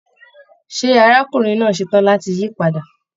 Ṣé arákùnrin náà ṣetán láti yí padà?